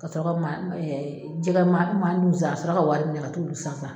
Ka sɔrɔ ka ma jɛgɛ ma san a sɔrɔ ka wari di ne ma ka t'olu san sa.